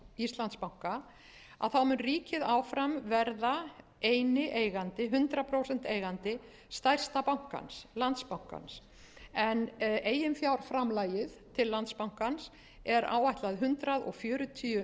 íslandsbanka mun ríkið áfram verða eini eigandi hundrað prósent eigandi stærsta bankans landsbankans en eiginfjárframlagið mál landsbankans er áætlað hundrað fjörutíu